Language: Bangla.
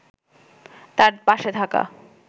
তাঁর পাশে থাকা